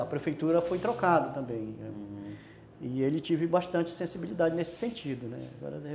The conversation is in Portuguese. A prefeitura foi trocada também e ele teve bastante sensibilidade nesse sentido.